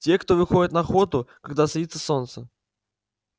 те кто выходит на охоту когда садится солнце